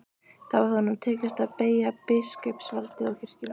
Þá hefði honum tekist að beygja biskupsvaldið og kirkjuna.